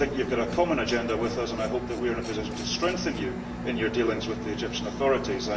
You have a common agenda with us and I hope that we are in a position to strengthen you in your dealings with the Egyptian authorities.